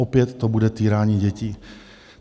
Opět to bude týrání dětí.